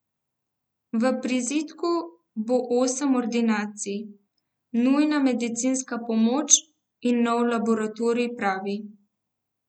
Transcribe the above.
V prizidku bo osem ordinacij, nujna medicinska pomoč in nov laboratorij, pravi.